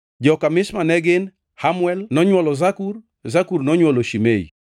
Joka Mishma ne gin: Hamuel nonywolo Zakur, Zakur nonywolo Shimei.